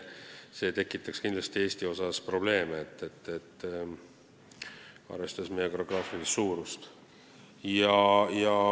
See tekitaks kindlasti Eestis probleeme, arvestades riigi geograafilist suurust.